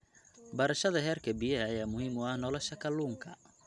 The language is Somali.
Barashada heerka biyaha ayaa muhiim u ah nolosha kalluunka.